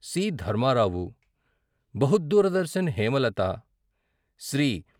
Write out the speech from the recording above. C Dharmarao, బహుద్దూరదర్శన హేమలత, శ్రీ.